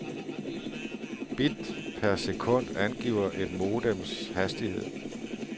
Bit per sekund angiver et modems hastighed.